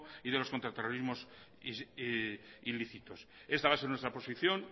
y de los contraterrorismos ilícitos esa va a ser nuestra posición